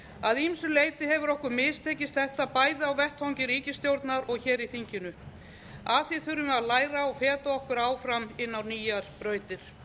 að ýmsu leyti hefur okkur mistekist þetta bæði á vettvangi ríkisstjórnar og hér í þinginu af því þurfum við að læra og feta okkur áfram inn á nýjar brautir